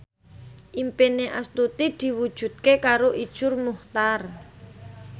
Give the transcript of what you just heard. impine Astuti diwujudke karo Iszur Muchtar